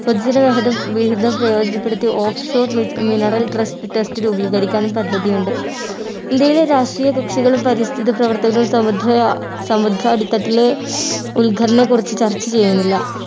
പൊതുജനഹിതം വിഹിതം പ്രയോജനപ്പെടുത്തി offshore min mineral trust test രൂപീകരിക്കാനും പദ്ധതിയുണ്ട് ഇന്ത്യയിലെ രാഷ്ട്രീയകക്ഷികളും പരിസ്ഥിത പ്രവർത്തകരും സമുദ്ര സമുദ്ര അടിത്തട്ടിലെ ഉൾഖനന കുറച്ച് ചർച്ച ചെയ്യുന്നില്ല